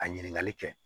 A ɲininkali kɛ